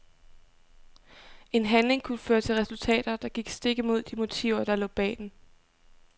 En handling kunne føre til resultater, der gik stik imod de motiver der lå bag den.